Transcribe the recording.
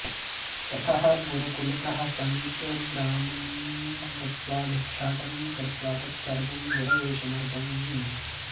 ततः गुरुकुलतः समीपग्रामं गत्वा भिक्षाटनं कृत्वा तत्सर्वं गुरवे समर्पणीयम्